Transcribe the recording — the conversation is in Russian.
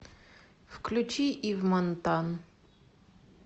включи ив монтан